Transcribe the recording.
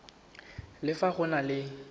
le fa go na le